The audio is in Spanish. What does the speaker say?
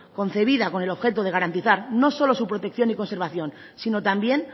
concebida con el objeto de garantizar no solo su protección y su conservación sino también